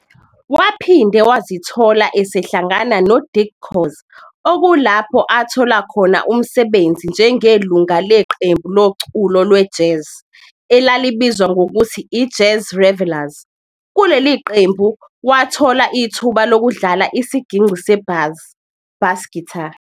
Waphinde Wazithola esehlangana no Dick Khoza okulapho athola khona umsebenzi njengelungu leqembu loculo we-jazz elalibizwa ngokuthi i-"Jazz Revellers". Kuleli qembu wathola wathola ithuba lokudlala isigingci sebhazi, "bass guitar".